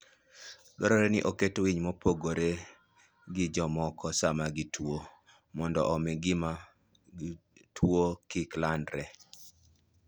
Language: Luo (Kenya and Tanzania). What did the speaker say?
Dwarore ni oket winy mopogore gi jomamoko sama gituwo, mondo omi gimi tuwono kik landre.